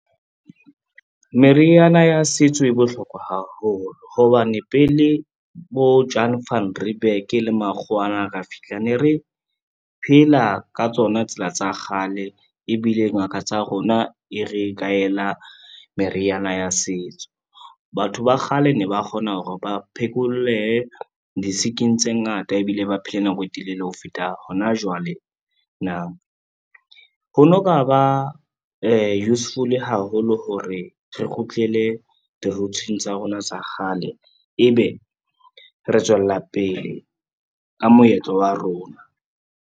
Meriana ya setso e bohlokwa haholo hobane pele bo Jan Van Reebeck le makgowa ana a ka fihla, ne re phela ka tsona tsela tsa kgale ebile ngaka tsa rona e re kaela meriana ya setso. Batho ba kgale ne ba kgona hore ba phekolwehe di-sick-ing tse ngata ebile ba phele nako e telele ho feta hona jwale. Ho no ka ba useful haholo hore re kgutlele di-roots-eng tsa rona tsa kgale, ebe re tswella pele ka moetlo wa rona.